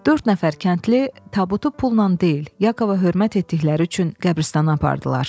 Dörd nəfər kəndli tabutu pulla deyil, Yakova hörmət etdikləri üçün qəbiristana apardılar.